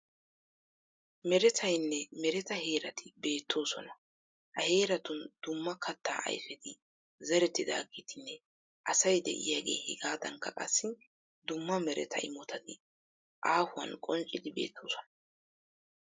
Meretayinne mereta heerati beettoosona. Ha heeratun dumma kattaa ayifeti zerettidaageetinne asay de'iyaagee hegaadankka qassi dumma mereta imotati aahuwan qonccidi beettoosona.